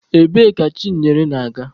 Ebee ka Chinyere na-aga?